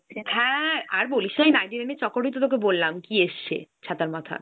হ্যাঁ। আর বলিস না ওই মনিনেটি নাইন এর চক্করেই তো তোকে বললাম কী এসছে ছাতার মাথা।